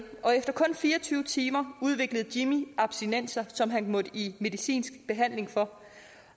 og efter kun fire og tyve timer udviklede jimmy abstinenser som han måtte i medicinsk behandling for